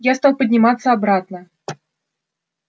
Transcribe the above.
я стал подниматься обратно